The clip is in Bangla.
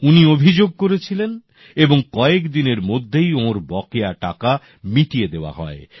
উনি অভিযোগ করেছিলেন এবং কয়েক দিনের মধ্যেই ওঁর বকেয়া টাকা মিটিয়ে দেওয়া হয়